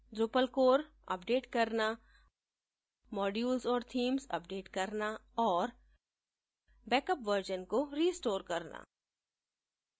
drupal core update करना modules और themes update करना और बैकअप वर्जन को रिस्टोर करना